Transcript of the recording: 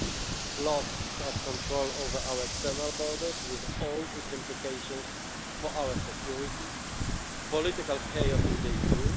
the loss of control over our external borders, with all its implications for our security political chaos in